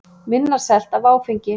Minna selt af áfengi